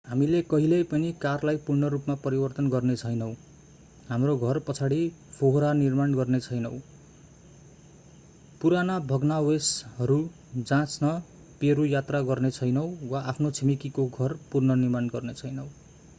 हामी कहिल्यै पनि कारलाई पूर्ण रूपमा परिवर्तन गर्नेछैनौँ हाम्रो घर पछाडि फोहोरा निर्माण गर्नेछैनौँ पुराना भग्नावशेषहरू जाँच्न पेरु यात्रा गर्नेछैनौँ वा आफ्नो छिमेकीको घर पुनर्निर्माण गर्नेछैनौँ